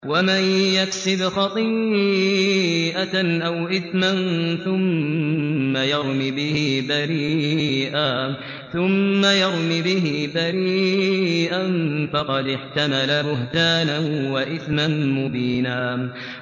وَمَن يَكْسِبْ خَطِيئَةً أَوْ إِثْمًا ثُمَّ يَرْمِ بِهِ بَرِيئًا فَقَدِ احْتَمَلَ بُهْتَانًا وَإِثْمًا مُّبِينًا